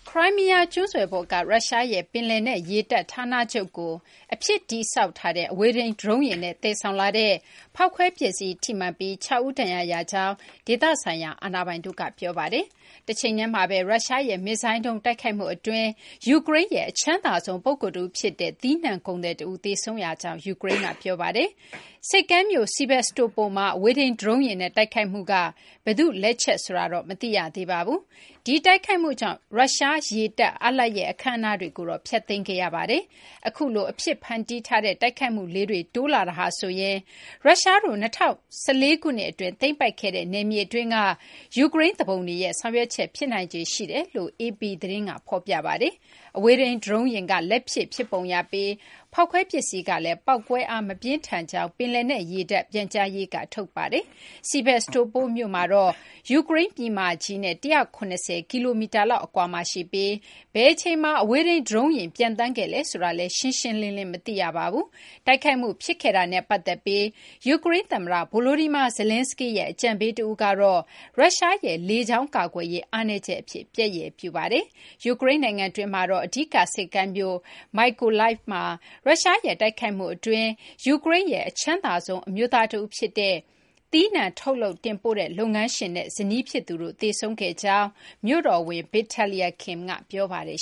ခရိုင်းမီးယား ကျွန်းဆွယ်ပေါ်က ရုရှားရဲ့ ပင်လယ်နက် ရေတပ် ဌာနချုပ်ကို လက်ဖြစ် အဝေးထိန်း ဒရုန်းယာဉ်နဲ့ သယ်ဆောင်လာတဲ့ ဖောက်ခွဲ ပစ္စည်း ထိမှန်ပြီး ၆ ဦး ဒဏ်ရာရကြောင်း ဒေသဆိုင်ရာ အာဏာပိုင်တို့က ပြောပါတယ်။ တချိန်တည်းမှာဘဲ ရုရှားရဲ့ မစ်ဇိုင်းဒုံး တိုက်ခိုက်မှု အတွင်း ယူကရိန်းရဲ့ အချမ်းသာဆုံး ပုဂ္ဂိုလ် တဦး ဖြစ်တဲ့ သီးနှံ ကုန်သည် တဦး သေဆုံးရကြောင်း ယူကရိန်းက ပြောပါတယ်။ ဆိပ်ကမ်းမြို့ Sevastopol မှာ အဝေးထိန်း ဒရုန်းယာဉ်နဲ့ တိုက်ခိုက်မှုက ဘယ်သူ့ လက်ချက် ဆိုတာတော့ မသိရသေးပါဘူး။ ဒီတိုက်ခိုက်မှုကြောင့် ရုရှား ရေတပ် အားလပ်ရပ် အခမ်းအနားတွေကိုတော့ ဖျက်သိမ်းခဲ့ရပါတယ်။ အခုလို အဖြစ်ဖန်တီးထားတဲ့ တိုက်ခိုက်မှုလေးတွေ တိုးလာတာဟာဆိုရင် ရုရှားတို့ ၂၀၁၄ ခုနှစ် အတွင်း သိမ်းပိုက်ခဲ့တဲ့ နယ်မြေ အတွင်းက ယူကရိန်း သူပုန်တွေရဲ့ ဆောင်ရွက်ချက် ဖြစ်နိုင်ခြေ ရှိတယ်လို့လည်း AP သတင်းက ဖော်ပြပါတယ်။ အဝေးထိန်း ဒရုန်းယာဉ်က လက်လုပ် ဖြစ်ပုံရပြီး ဖောက်ခွဲ ပစ္စည်းကလည်း ပေါက်ကွဲအား မပြင်းထန်ကြောင်း ပင်လယ်နက် ရေတပ် ပြန်ကြားရေးက ထုတ်ပြန်ပါတယ်။ Sevastopol မြို့ကတော့ ယူကရိန်း ပြည်မကြီးနဲ့ ၁၇၀ ကီလိုမီတာလောက် အကွာမှာ ရှိပြီး ဘယ်အချိန်မှာ အဝေးထိန်း ဒရုန်းယာဉ် ပျံသန်းခဲ့လဲ ဆိုတာတော့ ရှင်းရှင်းလင်းလင်း မသိရပါဘူး။ တိုက်ခိုက်မှု ဖြစ်ခဲ့တာနဲ့ ပတ်သက်ပြီး ယူကရိန်း သမ္မတ Volodymyr Zelenskyy ရဲ့ အကြံပေး တဦးကတော့ ရုရှားရဲ့ လေကြောင်း ကာကွယ်ရေး အားနည်းချက် အဖြစ် ပျက်ရယ်ပြုပါတယ်။ ယူကရိန်း နိုင်ငံတွင်းမှာတော့ အဓိက ဆိပ်ကမ်းမြို့ Mykolaiv မှာ ရုရှားရဲ့ တိုက်ခိုက်မှု အတွင်း ယူကရိန်းရဲ့ အချမ်းသာဆုံး အမျိုးသား တဦး ဖြစ်တဲ့ သီးနှံ ထုတ်လုပ် တင်ပို့တဲ့ လုပ်ငန်းရှင် Oleksiy Vadaturksy နဲ့ ဇနီး ဖြစ်သူ Raisa. Vadatursky တို့ သေဆုံးခဲ့ရကြောင်း မြို့တော်ဝန် Vitaliy Kim က ပြောပါတယ်